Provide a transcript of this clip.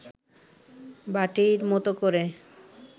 বাটির মতো করে